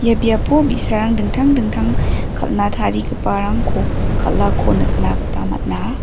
ia biapo bi·sarang dingtang dingtang kal·na tarigiparangko kal·ako nikna gita man·a.